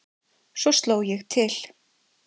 Svo sló ég til.